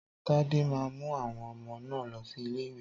Tádé máa mú àwọn ọmọ náà lọ sí ilé ìwé